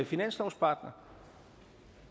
finanslovspartner